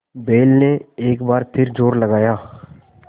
बैल ने एक बार फिर जोर लगाया